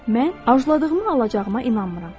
Mən arzuladığımı alacağıma inanmıram.